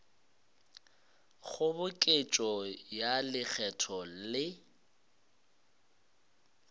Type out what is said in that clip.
kgoboketšo ya lekgetho le go